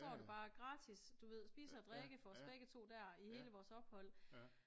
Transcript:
Og så var det bare gratis du ved spise og drikke for os begge to der i hele vores ophold